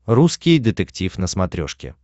русский детектив на смотрешке